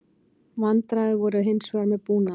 Vandræði voru hins vegar með búnaðinn